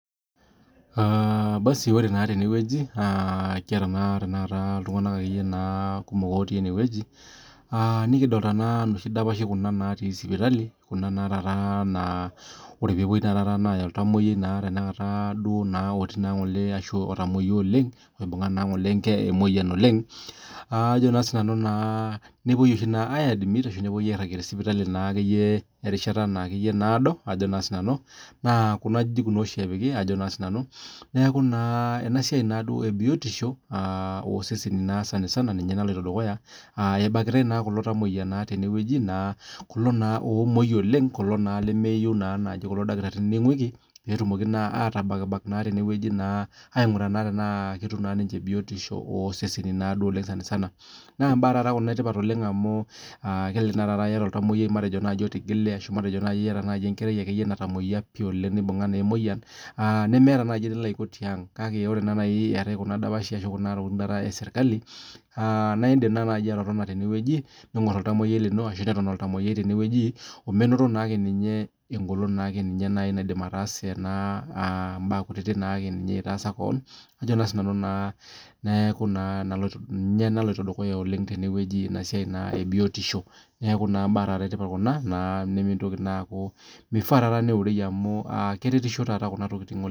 Ore naa tene kiata iltung'ana kumok otii enewueji nikidolita nooshi dapashi natii sipitali naa ore pee epuoi Aya olntamuoyiai Tanakata oibunga Ng'ole emoyian oleng nepuoi Ng'ole aidimit ashu nepuoi Ng'ole airajie tee sipitali erishata nadoo naa Kuna ajijik naa oshi epiki neeku naa enasiai ebiotiosho oo seseni sanisani naloito dukuya ebakitai naa kulo tamuoyia naa tenewueji kulo naa omuoi oleng kulo naa lemeyieu kulo dakitarini ninguiki petumoki naa atabak tenewueji aing'uraa tenaa ketum naa niche biotisho oseseni naaduo sanisana naa mbaa etipat taata Kuna amu kelelek eyata olntamuoyiai otamuoyia oleng ashu olotigile nimiata naaji enilo Aiko tiang kake ore taata etae Kuna tokitin Kuna dapashi esirkali naa edim naaji atotona tene ning'or olntamuoyiai lino ashu Eton tenewueji omenoto naake ninye egolon naidim ataasa keon neeku ninye naloito dukuya tenewueji enasiai ebiotiosho neeku mbee etipat Kuna mifaa taata neurei amu keretisho Kuna tokitin oleng